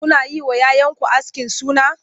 Kuna yi wa 'ya 'yanku askin suna?